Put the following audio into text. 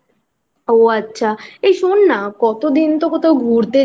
ও আচ্ছা ওই শোন না কতদিন তো কোথায় ঘুরতে